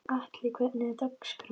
Atli, hvernig er dagskráin?